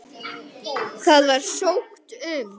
Það var sótt um.